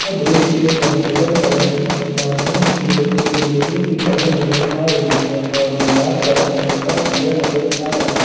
यह दृश्य एक हॉस्पिटल का है जिसमें सामने की ओर एक लोहे की पलंग नजर आ रही है और दीवार का रंग हल्का पीला नजर आ रहा--